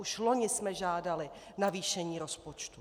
Už loni jsme žádali navýšení rozpočtu.